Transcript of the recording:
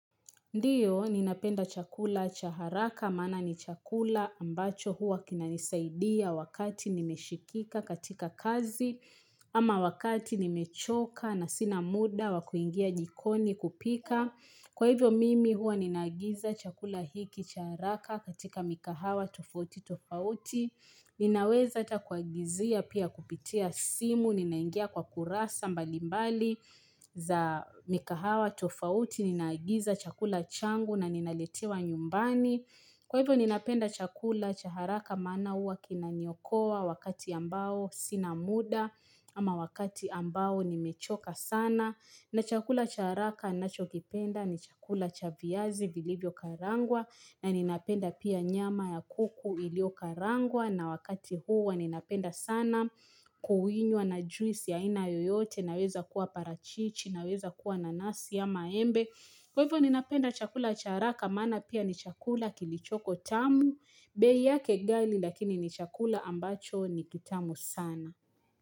Ndiyo ninapenda chakula cha haraka maana ni chakula ambacho huwa kinanisaidia wakati nimeshikika katika kazi ama wakati nimechoka na sina muda wa kuingia jikoni kupika. Kwa hivyo mimi huwa ninaagiza chakula hiki cha haraka katika mikahawa tofauti tofauti. Ninaweza ata kuagizia pia kupitia simu ninaingia kwa kurasa mbalimbali za mikahawa tofauti ninaagiza chakula cha changu na ninaletewa nyumbani. Kwa hivyo ninapenda chakula cha haraka maana huwa kinaniokoa wakati ambao sina muda ama wakati ambao nimechoka sana. Na chakula cha haraka ninachokipenda ni chakula cha viazi vilivyo karangwa na ninapenda pia nyama ya kuku ilio karangwa na wakati huwa ninapenda sana kuwinywa na juisi ya aina yoyote inaweza kuwa parachichi inaweza kuwa nanasi ama embe Kwa hivyo ninapenda chakula cha haraka, maana pia ni chakula kilichoko tamu, bei yake gali lakini ni chakula ambacho ni kitamu sana.